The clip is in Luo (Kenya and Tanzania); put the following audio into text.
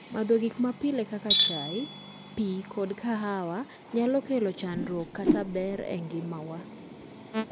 madho gik mapile kaka chai, pii kod kahawa nyalo kelo chandruok kata ber e ngima wa